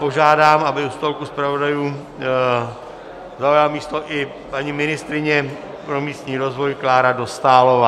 Požádám, aby u stolku zpravodajů zaujala místo i paní ministryně pro místní rozvoj Klára Dostálová.